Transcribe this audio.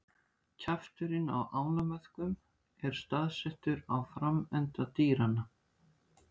Kjafturinn á ánamöðkum er staðsettur á framenda dýranna.